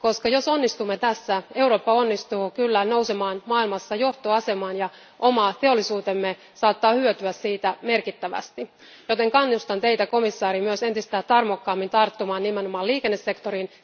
Jos onnistumme tässä, Eurooppa onnistuu kyllä nousemaan maailmassa johtoasemaan ja oma teollisuutemme saattaa hyötyä siitä merkittävästi. Näin ollen kannustan Teitä, komissaari, myös entistä tarmokkaammin tarttumaan nimenomaan liikennesektoriin.